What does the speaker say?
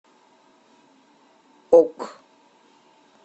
ок